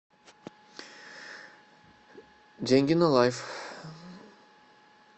деньги на лайф